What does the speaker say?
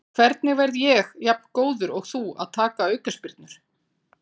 Hvernig verð ég jafn góður og þú að taka aukaspyrnur?